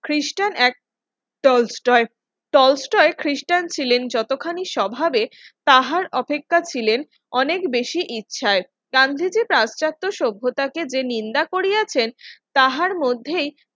খ্রিস্টান এক টলস্টয় খ্রিস্টান ছিলেন যতখানি স্বভাবে তাহার অপেক্ষা ছিলেন অনেক বেশি ইচ্ছায় গান্ধীজি তার চাচাতো সভ্যতাকে যে নিন্দা করিয়াছেন তাহার মধ্যে